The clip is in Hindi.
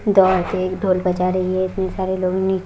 गांव के एक ढोल बजा रही है इतने सारे लोग नी --